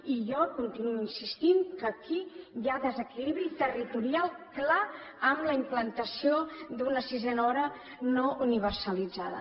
i jo continuo insistint que aquí hi ha desequilibri territorial clar amb la implantació d’una sisena hora no universalitzada